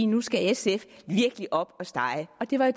nu skal sf virkelig op at stege det var